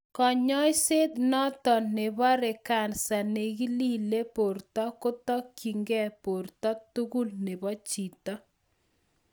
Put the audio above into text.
Konyoiset notok nebore kansa nekilile borto kotokyike borto tugul nebo chito